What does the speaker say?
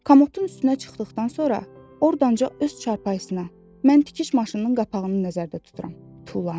Komotun üstünə çıxdıqdan sonra ordanca öz çarpayısına, mən tikiş maşınının qapağını nəzərdə tuturam, tullandı.